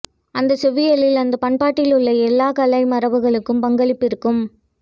அந்தச் செவ்வியலில் அந்த பண்பாட்டில் உள்ள எல்லாக் கலை மரபுகளுக்கும் பங்களிப்பிருக்கும்